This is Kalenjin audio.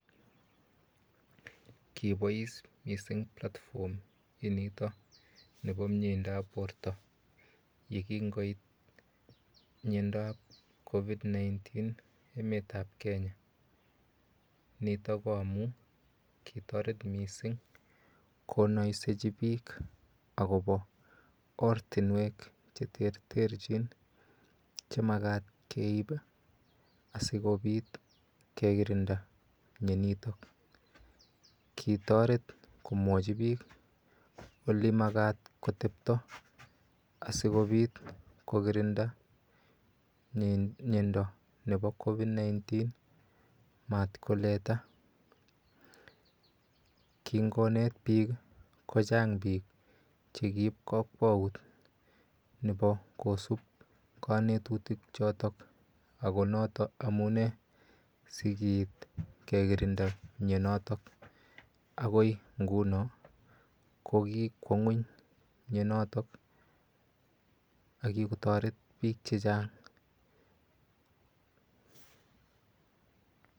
Kibois mising platform inito nepo mieindo ap borto yekingoit miondap COVID-19 emet ap Kenya nitok ko amun kitoret mising konoisechi biik akopo ortinwek che terterchin chemakat keip asikopit kekirinda mionotok kitoret komwochi biik olimakat kotepto asikopit kokirinda miondo nepo COVID-19 matkoleta kingonet biik ko chang biik chekiip kakwaut nepo kosup kanetutik chotok akonotok amune sikiit kekirinda mionotok akoi nguno ko kikwo ng'weny mionotok akikotoret biik che chang